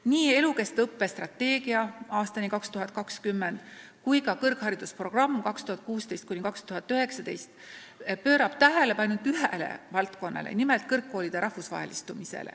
Nii "Elukestva õppe strateegia aastani 2020" kui ka "Kõrgharidusprogramm 2016–2019" pöörab tähelepanu ainult ühele valdkonnale, nimelt kõrgkoolide rahvusvahelistumisele.